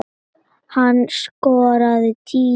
Hann skoraði tíu mörk.